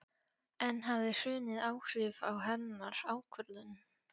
En hafði hrunið áhrif á hennar ákvörðun?